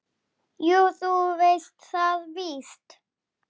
En þú verður ekki samur.